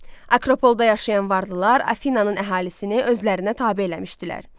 Akropol da yaşayan varlılar Afinannın əhalisini özlərinə tabe eləmişdilər.